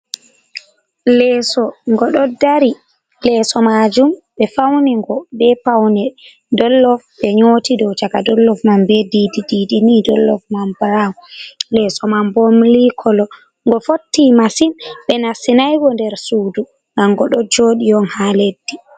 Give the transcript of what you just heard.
Lesso ngo ɗo dari, lesso majum ɓe fauni ngo be paune dollof ɓe nyoti dow caka dollof man be didi ɗiɗi ni dollof man brown lesso man bo milik kolo, ngo fotti massin ɓe nastinai go nder sudu gam ngo ɗo joɗi on ha leddi.